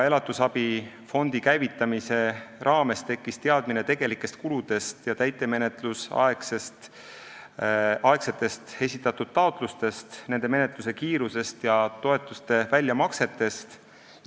Elatisabi fondi käivitamise raames tekkis teadmine tegelikest kuludest ja täitemenetlusaegsetest esitatud taotlustest, nende menetluse kiirusest ja toetuste väljamaksetest.